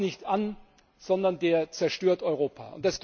der baut nicht an Europa, sondern der zerstört Europa.